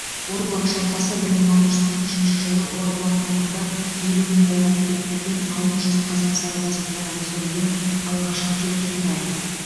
орбұлақ шайқасы бір мың алты жүз қырық үшінші жылы орбұлақ маңында елу мың қолға төтеп берген алты жүз қазақ сарбазы туралы түсірілген алғашқы телехикая